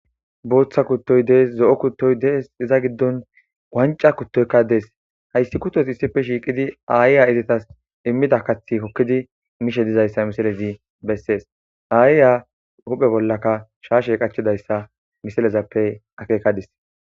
booththa kuttoy dees zo7o kuttoy dees iza giddon wwanca kuttoykka dees hayssi kutos issife shiiqidi aayiya izitas immida kathi kokkidi mishe dizayssa misilezi bessees aayiya huphe bollaka shaashe qachidayssa misilezappe akekadis